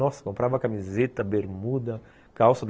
Nossa, comprava camiseta, bermuda, calça.